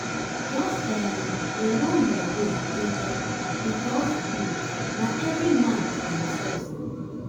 jus um dey run yur race jeje bikos um na evri man for himself um